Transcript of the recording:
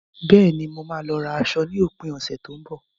Bẹ́ẹ̀ni, mo máa lọ ra aṣọ ní òpin ọ̀sẹ̀ tó ń bọ̀.